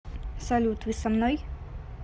салют вы со мной